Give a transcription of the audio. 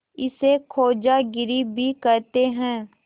इसे खोजागिरी भी कहते हैं